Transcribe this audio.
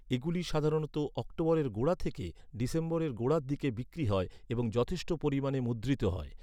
এগুলি সাধারণত অক্টোবরের গোড়া থেকে ডিসেম্বরের গোড়ার দিকে বিক্রি হয় এবং যথেষ্ট পরিমাণে মুদ্রিত হয়।